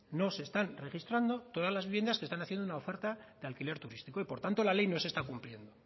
no se están registrando todas las viviendas que están haciendo una oferta de alquiler turístico y por tanto la ley no se está cumpliendo